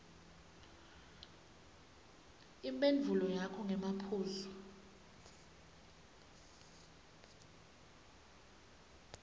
imphendvulo yakho ngemaphuzu